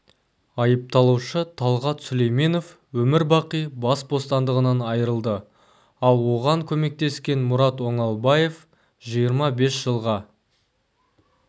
айыпталушы талғат сүлейменов өмірбақи бас бостандығынан айрылды ал оған көмектескен мұрат оңалбаев жиырма бес жылға